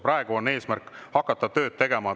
Praegu on eesmärk hakata tööd tegema.